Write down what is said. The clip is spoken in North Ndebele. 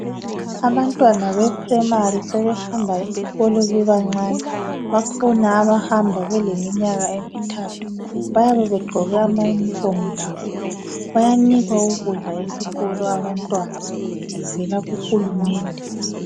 Abantwana be primary sebehamba esikolo bebancani .Bakhona abahamba beleminyaka emithathu ,bayabe begqoke amayunifomu labo .Bayanikwa ukudla esikolo abantwana kuvela kuhulumende.